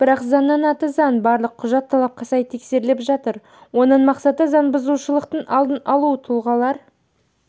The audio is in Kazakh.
бірақ заңның аты заң барлық құжат талапқа сай тексеріліп жатыр оның мақсаты заңбұзушылықтың алдын алу тұлғалар